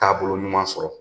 Taabolo ɲuman sɔrɔ